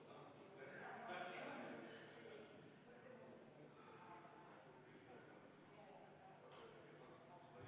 Oleme 34. muudatusettepaneku juures ja enne selle hääletamist palun teeme kohaloleku kontrolli.